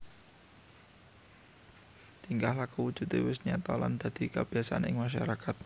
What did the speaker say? Tingkah laku Wujude wis nyata lan dadi kabiasan ing masyarakat